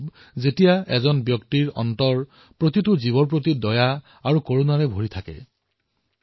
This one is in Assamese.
যেতিয়া ব্যক্তিৰ সকলো জীৱৰ প্ৰতি দয়া আৰু কৰুণা ভাৱ থাকে তেতিয়া এয়া সম্ভৱ হব পাৰে